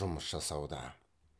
жұмыс жасауда